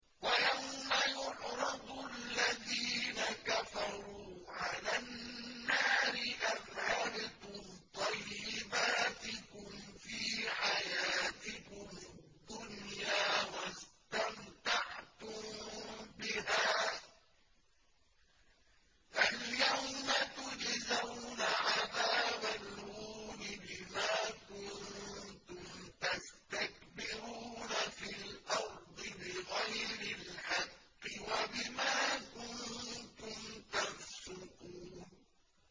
وَيَوْمَ يُعْرَضُ الَّذِينَ كَفَرُوا عَلَى النَّارِ أَذْهَبْتُمْ طَيِّبَاتِكُمْ فِي حَيَاتِكُمُ الدُّنْيَا وَاسْتَمْتَعْتُم بِهَا فَالْيَوْمَ تُجْزَوْنَ عَذَابَ الْهُونِ بِمَا كُنتُمْ تَسْتَكْبِرُونَ فِي الْأَرْضِ بِغَيْرِ الْحَقِّ وَبِمَا كُنتُمْ تَفْسُقُونَ